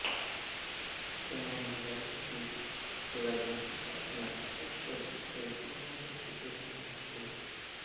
असे मानले जाते की सिंधू राज्याची स्थापना वृषदर्भ सिवीच्या मुलांपैकी एक यांनी केली होती